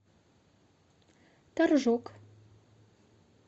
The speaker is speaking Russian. торжок